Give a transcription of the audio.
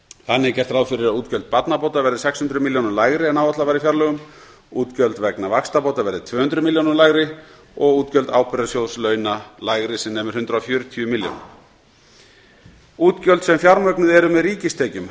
þannig er gert ráð fyrir að útgjöld barnabóta verði um sex hundruð milljónum lægri en áætlað var í fjárlögum útgjöld vegna vaxtabóta verði tvö hundruð milljónum lægri og útgjöld ábyrgðasjóðs launa lægri sem nemur hundrað og fjörutíu milljónum útgjöld sem fjármögnuð eru með ríkistekjum